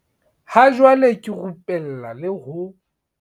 "Ha jwale ke rupella le ho"